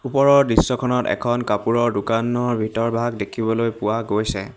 ওপৰৰ দৃশ্যখনত এখন কাপোৰৰ দোকানৰ ভিতৰভাগ দেখিবলৈ পোৱা গৈছে।